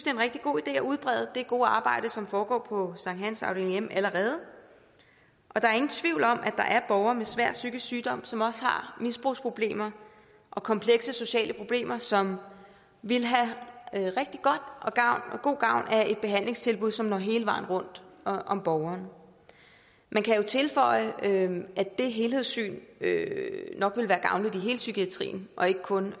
er en rigtig god idé at udbrede det gode arbejde som foregår på sankthans afdeling m allerede der er ingen tvivl om at der er borgere med svær psykisk sygdom som også har misbrugsproblemer og komplekse sociale problemer som vil have god gavn af et behandlingstilbud som når hele vejen rundt om borgeren man kan jo tilføje at det helhedssyn nok ville være gavnligt i hele psykiatrien og ikke kun